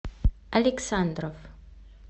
александров